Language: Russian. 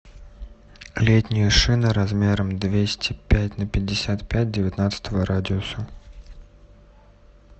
летние шины размером двести пять на пятьдесят пять девятнадцатого радиуса